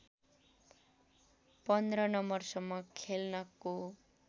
१५ नम्बरसम्म खेल्नको